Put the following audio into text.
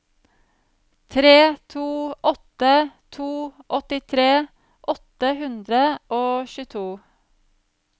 tre tre åtte to åttitre åtte hundre og tjueto